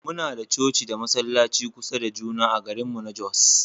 Muna da coci da masallaci kusa da juna a garinmu na Jos